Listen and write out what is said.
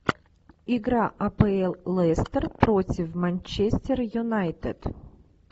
игра апл лестер против манчестер юнайтед